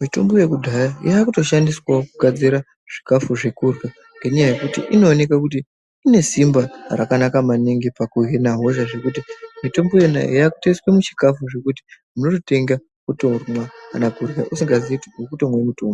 mitombo yekudhaya yakuto shandiswawo kugadzira zvikafu zvekurya ngenyaya yekuti inoonekwa kuti inesimba rakanaka maningi pakuhina hosha zvekuti mitombo yona iyoyo yakutoiswa muchikafu zvekuti unototenga wotomwa kana kurya usingaziii kuti urikutomwe mutombo.